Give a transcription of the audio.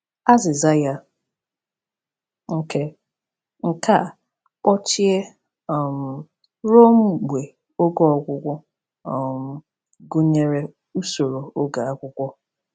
Azịza ya, nke nke a “kpọchie um ruo mgbe oge ọgwụgwụ,” um gụnyere usoro oge akwụkwọ.